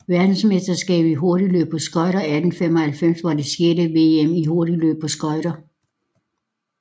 Verdensmesterskabet i hurtigløb på skøjter 1895 var det sjette VM i hurtigløb på skøjter